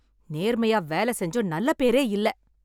நேர்மையா வேல செஞ்சும் நல்ல பேரே இல்ல.